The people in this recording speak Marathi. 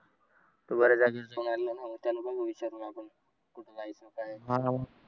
तो बऱ्याच जागी जाऊन आलेला आहे न